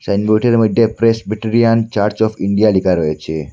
সাইনবোর্ডের মধ্যে Presbyterian church of India লিখা রয়েছে।